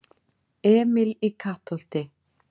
Emil í Kattholti